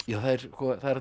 það er allur